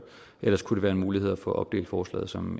ellers kunne det være en mulighed at få opdelt forslaget som